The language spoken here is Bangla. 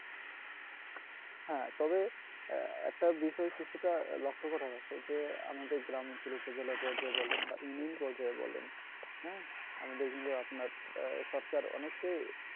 হ্যাঁ তবে একটা বিষয় কিছুটা লক্ষ্য করা যাচ্ছে যে আমাদের গ্রাম অঞ্চলে শৌচালয় পর্যায়ে বলেন বা immune পর্যায়ে বলেন হ্যাঁ আমাদের কিন্তু আপনার আহ সরকার অনেকটাই